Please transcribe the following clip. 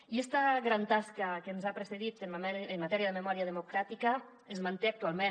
i esta gran tasca que ens ha precedit en matèria de memòria democràtica es manté actualment